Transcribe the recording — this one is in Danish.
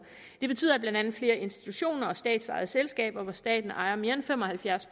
det betyder at blandt andet flere institutioner og statsejede selskaber hvor staten ejer mere end fem og halvfjerds